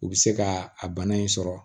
U bɛ se ka a bana in sɔrɔ